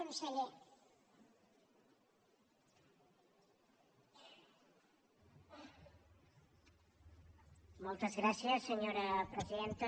moltes gràcies senyora presidenta